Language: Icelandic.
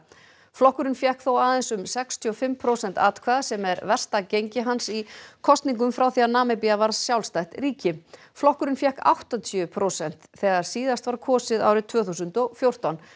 flokkurinn fékk þó aðeins um sextíu og fimm prósent atkvæða sem er versta gengi hans í kosningum frá því að Namibía varð sjálfstætt ríki flokkurinn fékk áttatíu prósent þegar síðast var kosið árið tvö þúsund og fjórtán